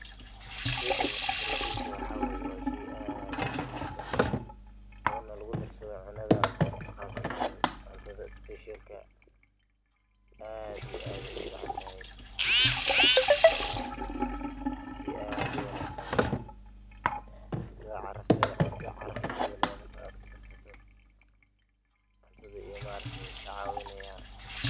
Sheygan qibridisa waxa wa shey aad uu muhiimsan oo lugudarsado cunada qasatan cuntada isbishalka ah aad iyo aad ayey umacantahay marka shey aad uwangsan waye. Cuntada caraf ay uyelaya marka kudarsato, cuntada ayu maaragte kacawinaya.